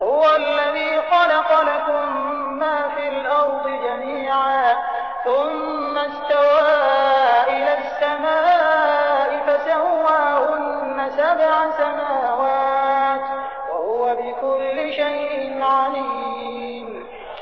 هُوَ الَّذِي خَلَقَ لَكُم مَّا فِي الْأَرْضِ جَمِيعًا ثُمَّ اسْتَوَىٰ إِلَى السَّمَاءِ فَسَوَّاهُنَّ سَبْعَ سَمَاوَاتٍ ۚ وَهُوَ بِكُلِّ شَيْءٍ عَلِيمٌ